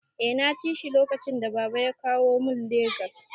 Eh naci shi lokacin da baba ya kawo mu Lagos